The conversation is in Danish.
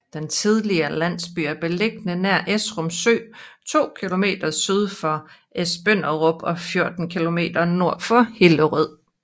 Den tidligere landsby er beliggende nær Esrum Sø to kilometer syd for Esbønderup og 14 kilometer nord for Hillerød